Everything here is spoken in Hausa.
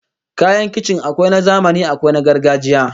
Kayan kicin akwai na zamani akwai na gargajiya